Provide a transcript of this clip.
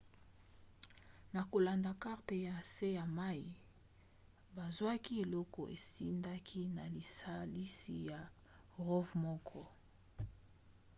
na kolanda karte ya nse ya mai bazwaki eloko ezindaki na lisalisi ya rov moko